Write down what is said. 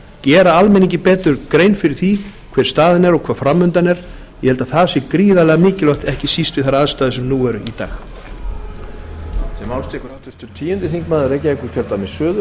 gera almenningi betur grein fyrir því hver staðan er og hvað framundan er ég held að það sé gríðarlega mikilvægt ekki síst við þær aðstæður sem nú eru í dag